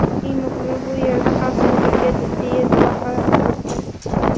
Eng muhimi, bu yerda xavfsizlikka jiddiy e’tibor qaratilmoqda.